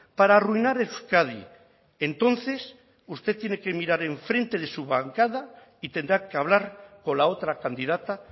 para arruinar euskadi entonces usted tiene que mirar enfrente de su bancada y tendrá que hablar con la otra candidata